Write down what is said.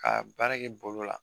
Ka baara kɛ bolo la.